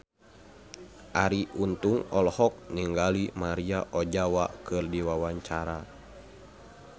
Arie Untung olohok ningali Maria Ozawa keur diwawancara